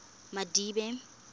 madibe